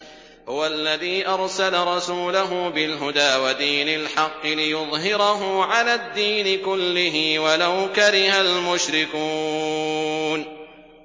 هُوَ الَّذِي أَرْسَلَ رَسُولَهُ بِالْهُدَىٰ وَدِينِ الْحَقِّ لِيُظْهِرَهُ عَلَى الدِّينِ كُلِّهِ وَلَوْ كَرِهَ الْمُشْرِكُونَ